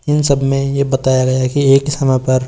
इन सब में ये बताया गया है कि एक ही समय पर--